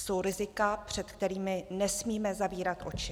Jsou rizika, před kterými nesmíme zavírat oči.